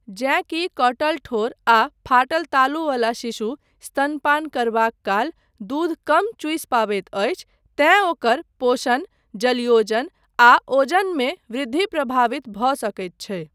जेँ कि कटल ठोर आ फाटल तालुवला शिशु स्तनपान करबाक काल दूध कम चूसि पबैत अछि तेँ ओकर पोषण, जलयोजन आ ओजनमे वृद्धि प्रभावित भऽ सकैत छै।